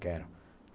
Quero.